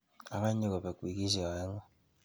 Akonyi kobek wikishek aeng'u.